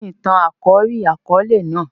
Kíni àkòrí ìtàn-àkóòlè náà?